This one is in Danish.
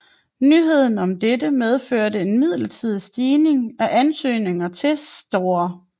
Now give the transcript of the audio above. Nyheden om dette medførte en midlertidig stigning i antallet af ansøgninger til St